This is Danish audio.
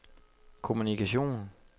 kommunikation